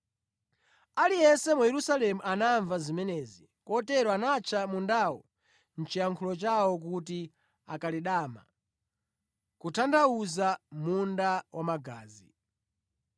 Aliyense mu Yerusalemu anamva zimenezi, kotero anatcha mundawo mʼchiyankhulo chawo kuti Akeledama, kutanthauza, Munda wa Magazi).